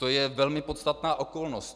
To je velmi podstatná okolnost.